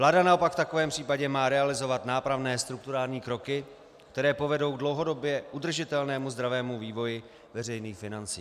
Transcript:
Vláda naopak v takovém případě má realizovat nápravné strukturální kroky, které povedou dlouhodobě k udržitelnému zdravému vývoji veřejných financí.